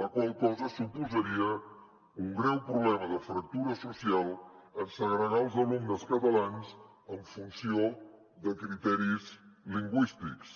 la qual cosa suposaria un greu problema de fractura social en segregar els alumnes catalans en funció de criteris lingüístics